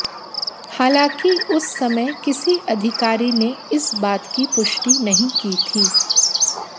हालांकि उस समय किसी अधिकारी ने इस बात की पुष्टि नहीं की थी